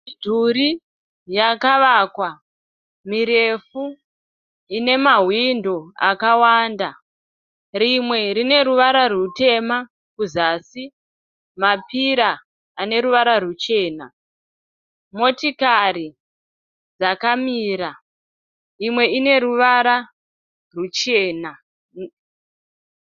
Midhuri yakavakwa mirefu ine mahwindo akawanda, rimwe rine ruvara rutema kuzasi. Mapira ane ruva ruchena. Motokari dzakamira imwe ine ruvara ruchena.